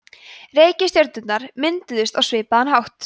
reikistjörnurnar mynduðust á svipaðan hátt